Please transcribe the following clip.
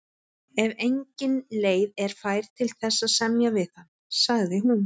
Ef engin leið er fær til þess að semja við hann, sagði hún.